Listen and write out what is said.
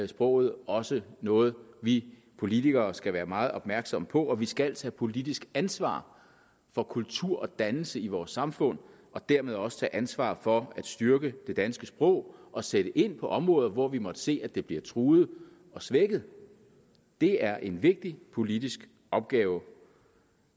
sproget også noget vi politikere skal være meget opmærksomme på og vi skal tage politisk ansvar for kultur og dannelse i vores samfund og dermed også tage ansvar for at styrke det danske sprog og sætte ind på områder hvor vi måtte se at det bliver truet og svækket det er en vigtig politisk opgave